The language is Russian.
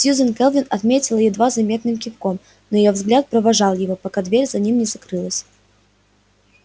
сьюзен кэлвин ответила едва заметным кивком но её взгляд провожал его пока дверь за ним не закрылась